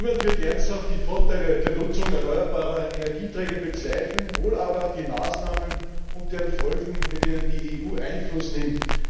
Niemand wird ernsthaft die Vorteile der Nutzung erneuerbarer Energieträger bezweifeln, wohl aber die Maßnahmen und deren Folgen, mit denen die EU Einfluss nimmt.